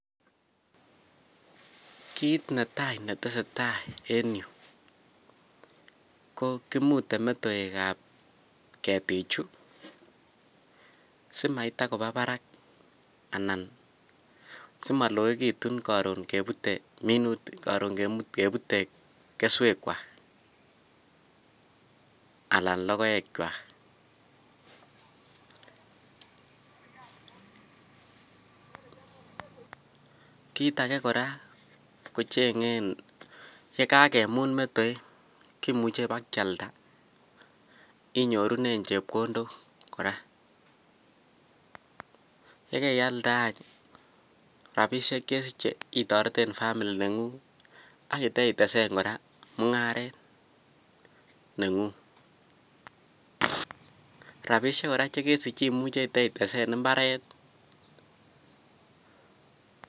Kiit netai netesetai en yuu ko kimute metoekab ketichu simaitakoba barak anan simoloekitun koron kebute minutik, koron kebute keswekwak alaan lokoekwak, kiit akee kora kicheng'en yekakemut metoek kimuche ibakialda inyorunen chepkondok kora, yekeialde any rabishek chesiche itoreten family neng'ung ak iteitesen mung'aret neng'ung, rabishek kora chekesich imuche iteitesen imbaret.